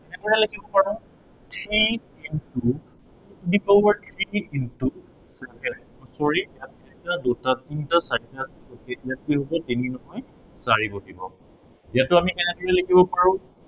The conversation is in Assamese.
এনেকৈও লিখিব পাৰো, three into, to the power three into, sorry এটা দুটা তিনটা চাৰিটা, ইয়াত কি হব তিনি নহয়, চাৰি বহিব। ইয়াতো আমি কেনেদৰে লিখিব পাৰো